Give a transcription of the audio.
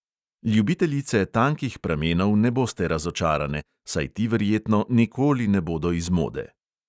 Ljubiteljice tankih pramenov ne boste razočarane, saj ti verjetno nikoli ne bodo iz mode.